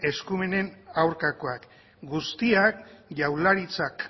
eskumenen aurkakoak guztiak jaurlaritzak